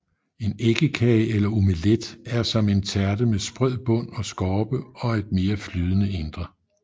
En æggekage eller omelet er som en tærte med sprød bund og skorpe og et mere flydende indre